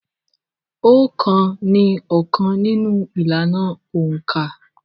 Òǹkà ni óókan nínú ìlànà òǹkà.